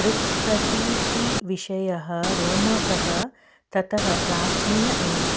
दृक्प्रतीतिविषयः रोमकः ततः प्राचीन एव